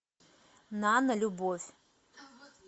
нано любовь